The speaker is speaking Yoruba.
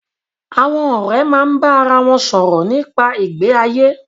Àwon òré máa bá ara won sòrò nípa ìgbé ayé